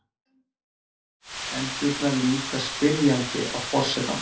Endurnar líta spyrjandi á forsetann.